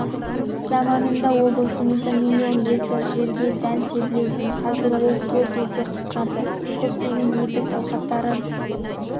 заманында облысымызда миллион гектар жерге дән себілетін қазір ол төрт есе қысқарды көптеген егіс алқаптары